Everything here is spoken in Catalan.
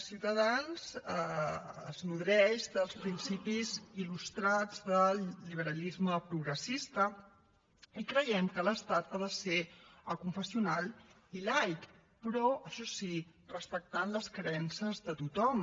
ciutadans es nodreix dels principis il·lustrats del liberalisme progressista i creiem que l’estat ha de ser aconfessional i laic però això sí respectant les creences de tothom